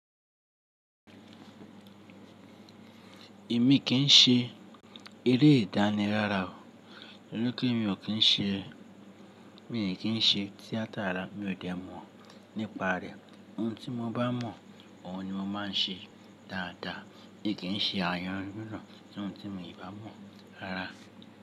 Èmi kì ń ṣe eré ìdáni rárà o, to ripe mi ò kí ń ṣe, mi ò kì ń ṣe tíátà rárá, mi ò dẹ̀ mọ̀ nípa rẹ̀. Ohun tí mo bá mọ̀, òhun ni mo máa ń ṣe dáadáa, mi kí ń ṣe àyojuràn tí ohun tí mi ò bá mọ̀ rárá.